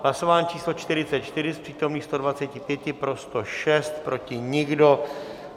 Hlasování číslo 44, z přítomných 125 pro 105, proti nikdo.